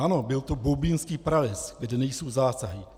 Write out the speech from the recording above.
Ano, byl to Boubínský prales, kde nejsou zásahy.